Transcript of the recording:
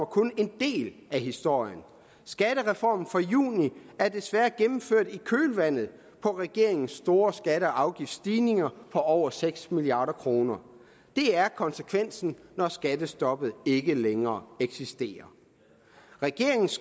kun en del af historien skattereformen fra juni er desværre gennemført i kølvandet på regeringens store skatte og afgiftsstigninger på over seks milliard kroner det er konsekvensen når skattestoppet ikke længere eksisterer regeringens